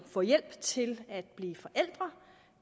få hjælp til at blive forældre